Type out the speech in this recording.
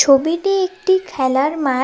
ছবিটি একটি খেলার মা--